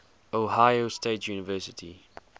ohio state university